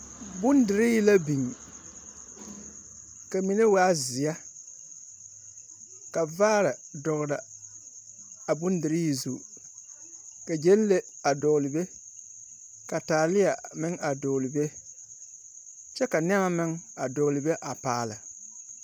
Bondirii biŋ, ka mine waa zeɛ ka vaare dɔgle a Bondirii zu. Ka Gyɛnle a dɔgle be, ka taaleɛ meŋ a dɔgle be. Kyɛ ka nɛma meŋ a dɔgle be a paale.